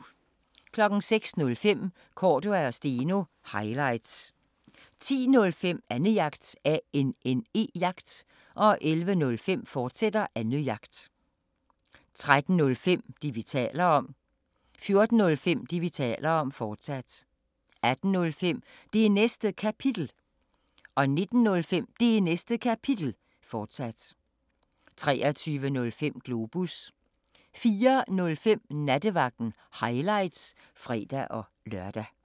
05:05: Cordua & Steno – highlights 10:05: Annejagt 11:05: Annejagt, fortsat 13:05: Det, vi taler om 14:05: Det, vi taler om, fortsat 18:05: Det Næste Kapitel 19:05: Det Næste Kapitel, fortsat 23:05: Globus 04:05: Nattevagten – highlights (fre-lør)